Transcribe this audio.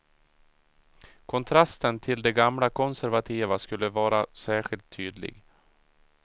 Kontrasten till de gamla konservativa skulle vara särskilt tydlig.